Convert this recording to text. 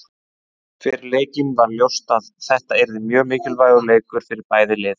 Fyrir leikinn var ljóst að þetta yrði mjög mikilvægur leikur fyrir bæði lið.